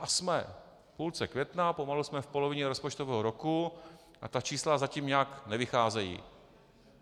A jsme v půlce května, pomalu jsme v polovině rozpočtového roku a ta čísla zatím nějak nevycházejí.